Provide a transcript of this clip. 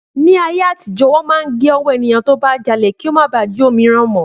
Ni ayé àtijó, wọn máa ń gé ọwọ́ ènìyàn tó bá jalè kí ó má bà á jí òmíràn mọ́